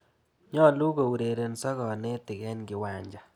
Nyalu kourerenso kanetik eng' kiwanja.